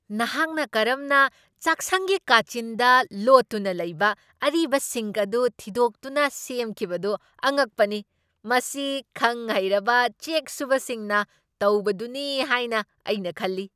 ꯅꯍꯥꯛꯅ ꯀꯔꯝꯅ ꯆꯥꯛꯁꯪꯒꯤ ꯀꯥꯆꯤꯟꯗ ꯂꯣꯠꯇꯨꯅ ꯂꯩꯕ ꯑꯔꯤꯕ ꯁꯤꯡꯛ ꯑꯗꯨ ꯊꯤꯗꯣꯛꯇꯨꯅ ꯁꯦꯝꯈꯤꯕꯗꯨ ꯑꯉꯛꯄꯅꯤ. ꯃꯁꯤ ꯈꯪ ꯍꯩꯔꯕ ꯆꯦꯛ ꯁꯨꯕꯁꯤꯡꯅ ꯇꯧꯕꯗꯨꯅꯤ ꯍꯥꯏꯅ ꯑꯩꯅ ꯈꯜꯂꯤ꯫